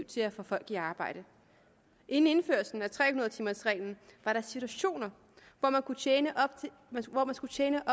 til at få folk i arbejde inden indførelsen af tre hundrede timers reglen var der situationer hvor man skulle tjene